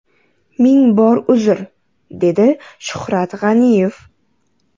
Ming bor uzr”, – dedi Shuhrat G‘aniyev.